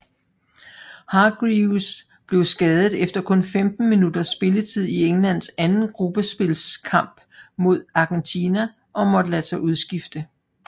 Hargreaves blev skadet efter kun 15 minutters spilletid i Englands anden gruppespilskamp mod Argentina og måtte lade sig udskifte